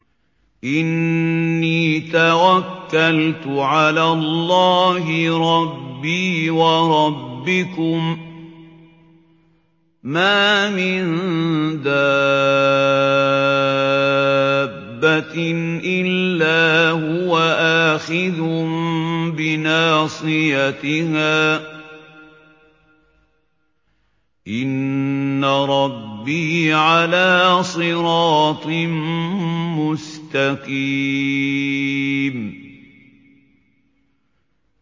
إِنِّي تَوَكَّلْتُ عَلَى اللَّهِ رَبِّي وَرَبِّكُم ۚ مَّا مِن دَابَّةٍ إِلَّا هُوَ آخِذٌ بِنَاصِيَتِهَا ۚ إِنَّ رَبِّي عَلَىٰ صِرَاطٍ مُّسْتَقِيمٍ